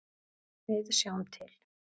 Við sjáum til.